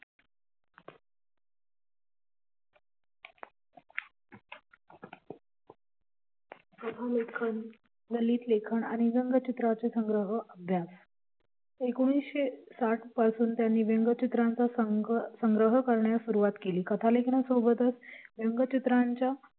लेखन ललित लेखन आणि रंग चित्राचे संग्रह एकोणीसशे साठ पासून त्यांनी रंगचित्राचा संग्रह करण्यास सुरुवात केली कथा लेखनासोबतच रंगचित्रांच्या